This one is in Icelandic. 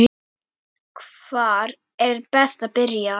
Hvar er best að byrja?